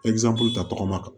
ta tɔgɔma kan